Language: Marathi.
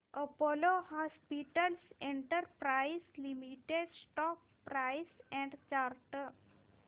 Apollo hospitals enterprise limited stock price and chart